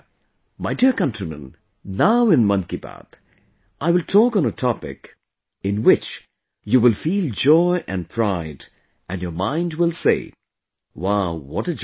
My dear countrymen, now in 'Mann Ki Baat', I will talk on a topic, in which you will feel joy and pride and your mind will say Wow what a joy